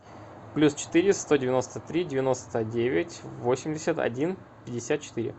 плюс четыре сто девяносто три девяносто девять восемьдесят один пятьдесят четыре